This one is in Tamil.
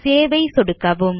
சேவ் ஐ சொடுக்கவும்